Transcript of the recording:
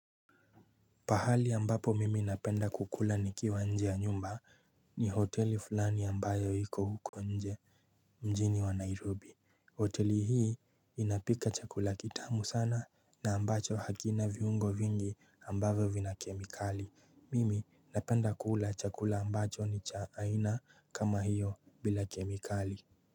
Pahali ambapo mimi napenda kukula nikiwa nje ya nyumba ni hoteli fulani ambayo hiko huko nje mjini wa Nairobi hoteli hii inapika chakula kitamu sana na ambacho hakina viungo vingi ambayo vina kemikali Mimi napenda kukula chakula ambacho ni cha aina kama hiyo bila kemikali.